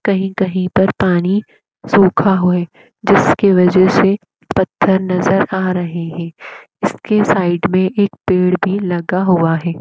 कही कही पर पानी सूखा हुआ है जिसके वजह से पत्थर नज़र आ रहे है इसके साइड में एक पेड़ भी लगा हुआ है।